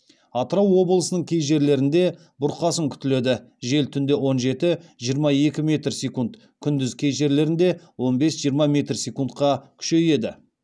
атырау облысының кей жерлерінде бұрқасын күтіледі жел түнде он жеті жиырма екі метр секунд күндіз кей жерлерінде он бес жиырма метр секундқа күшейеді